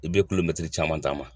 I be caman taama.